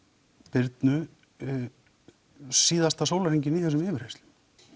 Birnu síðasta sólarhringinn í þessum yfirheyrslum